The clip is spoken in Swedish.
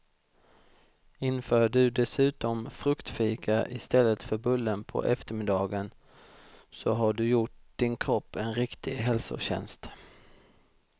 Inför du dessutom fruktfika i stället för bullen på eftermiddagen så har du gjort din kropp en riktig hälsotjänst.